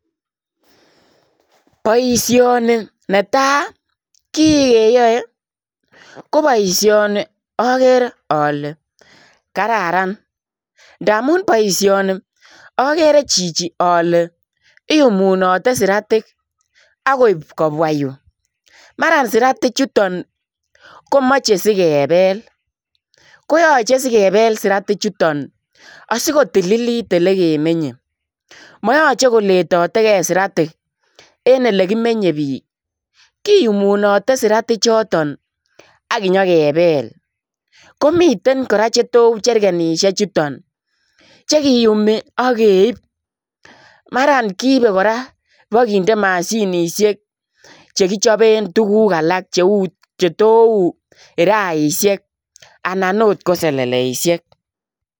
Boisioni netai kiiikeyae ko boisioni agere ale kararan ndamuun boisioni agere Gigi ale iyumunate siratiik agoib kobwaah Yuu maran siratiik chutoon komachei sikebeel koyachei sikebeel siratiik chutoon asikotililit ele ke menyei mayachei ko letategei siratiik en ele kimenye biik kiyumunate siratiik chotoon aginyo kebel komiteen kora che though wuu cherkenishek chutoon chekiyumii akeib maraan kiibe kora ibakinde mashinisheek chekichapeen tuguuk alaak che though wuu kuraisheek anan akoot ko seleleisiek.